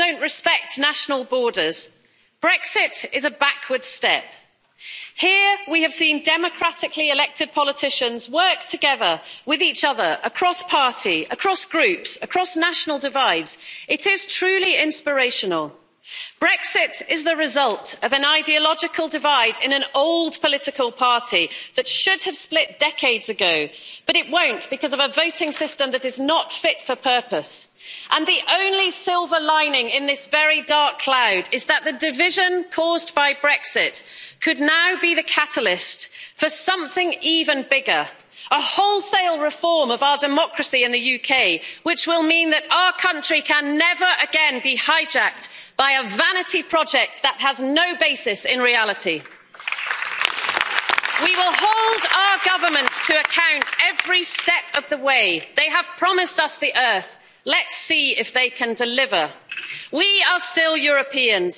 In a world that is ever more interconnected, with problems that don't respect national borders, Brexit is a backward step. Here we have seen democratically elected politicians work together with each other, across party, across groups, across national divides. It is truly inspirational. Brexit is the result of an ideological divide in an old political party that should have split decades ago, but it won't because of a voting system that is not fit for purpose. The only silver lining in this very dark cloud is that the division caused by Brexit could now be the catalyst for something even bigger a wholesale reform of our democracy in the UK which will mean that our country can never again be hijacked by a vanity project that has no basis in reality. We will hold our government to account every step of the way. They have promised us the earth let's see if they can deliver. We are still Europeans.